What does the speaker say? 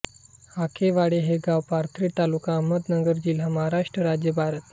हाकेवाडी हे गाव पाथर्डी तालुका अहमदनगर जिल्हा महाराष्ट्र राज्य भारत